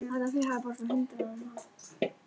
Sagt að hún hefði ekki dregið af sér.